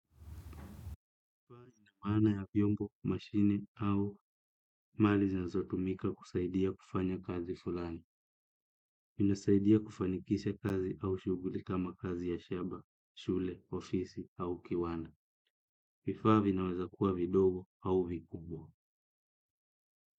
Maana ya vyombo, mashini au mali zinazotumika kusaidia kufanya kazi fulani. Inasaidia kufanikisha kazi au shughuli ama kazi ya shamba, shule, ofisi au kiwanda. Vifaa vinaweza kuwa vidogo au vikubwa.